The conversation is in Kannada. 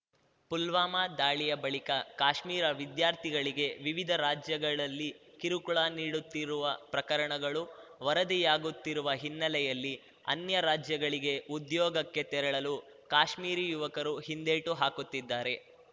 ಪುಲ್ವಾಮಾ ದಾಳಿಯ ಬಳಿಕ ಕಾಶ್ಮೀರ ವಿದ್ಯಾರ್ಥಿಗಳಿಗೆ ವಿವಿಧ ರಾಜ್ಯಗಳಲ್ಲಿ ಕಿರುಕುಳ ನಿಡುತ್ತಿರುವ ಪ್ರಕರಣಗಳು ವರದಿಯಾಗುತ್ತಿರುವ ಹಿನ್ನೆಲೆಯಲ್ಲಿ ಅನ್ಯ ರಾಜ್ಯಗಳಿಗೆ ಉದ್ಯೋಗಕ್ಕೆ ತೆರಳಲು ಕಾಶ್ಮೀರಿ ಯುವಕರು ಹಿಂದೇಟು ಹಾಕುತ್ತಿದ್ದಾರೆ